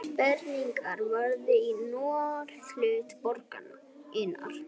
Sprengingin varð í norðurhluta borgarinnar